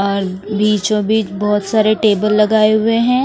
और बीचोंबीच बहुत सारे टेबल लगाए हुए हैं।